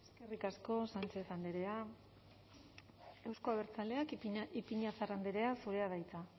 eskerrik asko sánchez andrea euzko abertzaleak ipiñazar andrea zurea da hitza